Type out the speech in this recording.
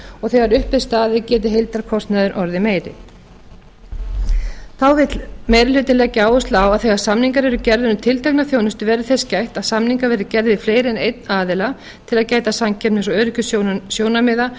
og þegar upp er staðið geti heildarkostnaður orðið meiri þá vill meiri hlutinn leggja áherslu á að þegar samningar eru gerðir um tiltekna þjónustu verði þess gætt að samningar verði gerðir við fleiri en einn aðila til að gæta samkeppnis og öryggissjónarmiða